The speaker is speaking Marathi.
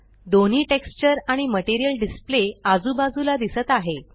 दोन्ही टेक्स्चर आणि मटेरियल डिसप्ले आजूबाजूला दिसत आहे